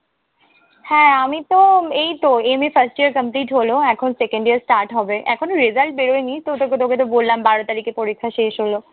হ্যাঁ আমিতো এইতো MA first year complete হলো। এখন second year start হবে। এখনো result বেরোয়নি তো তোকেতো বললাম বারো তারিখে পরীক্ষা শেষ হলো।